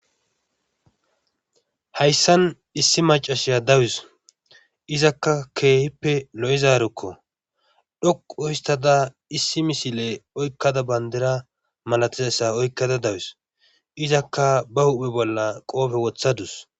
hayssan issi macashiya dawus izakka keehippe lo7ezaarukko dhoquuhistada issi misile oykkada bandira malatizayssa oykkada dawus izakka ba huphe bolla qoofe wothadus